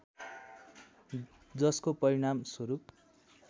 जसको परिणाम स्वरूप